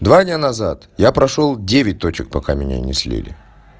два дня назад я прошёл девять точек пока меня не слили